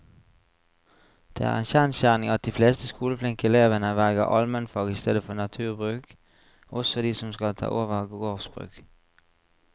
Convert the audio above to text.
Det er en kjensgjerning at de fleste skoleflinke elevene velger allmennfag i stedet for naturbruk, også de som skal ta over gårdsbruk.